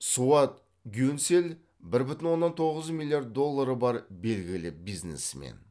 суат гюнсель бір бүтін оннан тоғыз миллиард доллары бар белгілі бизнесмен